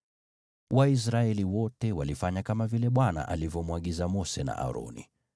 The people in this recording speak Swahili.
Waisraeli wote walifanya kama vile Bwana alivyomwagiza Mose na Aroni.